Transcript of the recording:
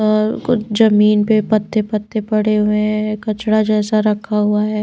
और कुछ जमीन पे पत्ते पत्ते पड़े हुए हैं कचड़ा जैसा रखा हुआ है।